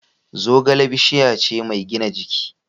Zogale bishiya ce mai gina jiki.